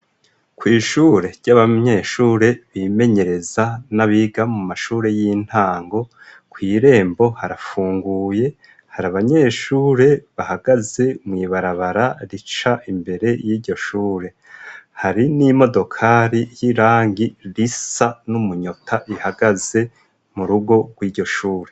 Kw'ishure ry'abanyeshure bimenyereza, n'abiga mu mashure y'intango, kw'irembo harafunguye ,hari abanyeshure bahagaze mw'ibarabara rica imbere y'iryoshure ,hari n'imodokari y'irangi risa n'umunyota ,ihagaze mu rugo rw'iryoshure.